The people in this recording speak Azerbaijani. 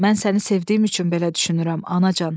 Mən səni sevdiyim üçün belə düşünürəm, anacan.